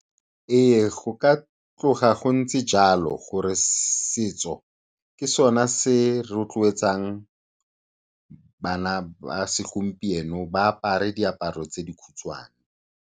Ee, go ka tloga go ntse jalo gore setso ke sona se rotloetsang bana ba segompieno ba apare diaparo tse di khutshwane.